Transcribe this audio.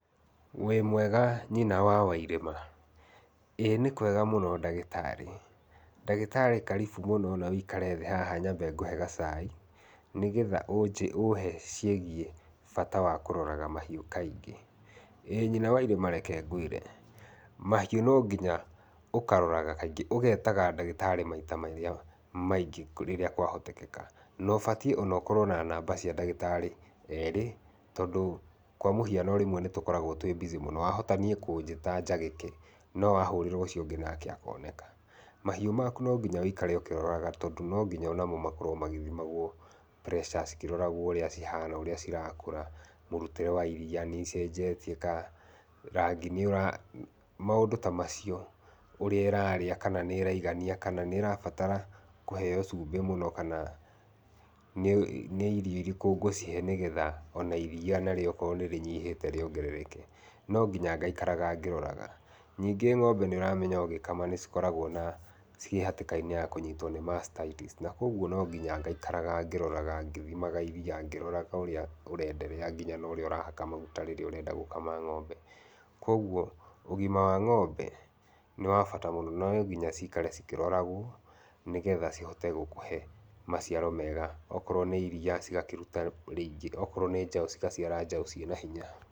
Wĩ mwega nyina wa Wairĩma. Ĩĩ nĩkwega ndagĩtarĩ. Ndagĩtarĩ wĩ karibu mũno na ũikare thĩ haha nyambe ngũhe gacai nĩgetha uhe ciĩgiĩ bata wa kũroraga mahiũ kaingĩ. Ĩĩ nyina wa Irĩma reke ngwĩre, mahiũ no nginya ũkaroraga, ũgetaga ndagĩtarĩ kaingĩ maita marĩa maingĩ rĩrĩa kwahotekeka, no ũbatiĩ ona ũkorwo na namba cia ndagĩtarĩ erĩ tondũ kwa mũhiano nĩ tũkoragwo twĩ mbicĩ mũno, wahota niĩ kũnjĩta njagĩke no wahũrĩra ũcio ũngĩ nake akoneka. Mahiũ maku no nginya ũikarage ũkĩroraga no nginya onamo makĩroragwo magĩthima, cigaikaraga cikĩroragwo ũrĩa cihana, ũrĩa cirakũra, mũrutĩre wa iria, nĩ icenjetie rangĩ nĩũra, maũndũ ta macio, ũrĩa ĩrarĩa kana nĩ ĩraigania, nĩrabatara kũheo cumbĩ mũno kana nĩ irio irĩkũ ngũcihe nĩgetha iriia narĩo okorwo nĩrĩnyihĩte, nonginya ngaikaraga ngĩroraga. Ningĩ ng'ombe nĩũramenya ũgĩkama nĩcikoragwo ciĩhatĩkainĩ ya kũnyitwo nĩ macitaitici na kũoguo no nginya ngaikara ngĩroraga, ngĩthimaga iriia, ngĩroraga ũrĩa ũrenderea nginya ũrĩa ũrahaka maguta rĩrĩa ũrenda gũkama ng'ombe. Kũoguo ũgima wa ng'ombe nĩwabata mũno na nonginya cikare cikĩroragwo nĩ getha cihote gũkũhe maciaro mega akorwo nĩ iriia cigakĩruta rĩingĩ, okorwo nĩ njaũ cigaciara njaũ ciĩnahinya.